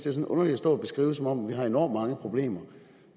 er lidt underligt at stå og beskrive det som om vi har enormt mange problemer